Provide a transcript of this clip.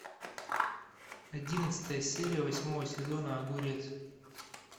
одиннадцатая серия восьмого сезона огурец